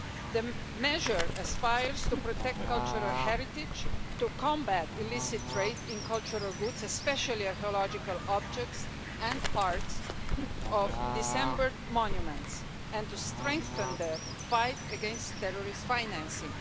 The measure aspires to protect cultural heritage, to combat illicit trade in cultural goods, especially archaeological objects and parts of dismembered monuments, and to strengthen the fight against terrorist financing.